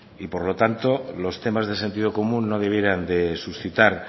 y por lo tanto los temas de sentido común no debieran de suscitar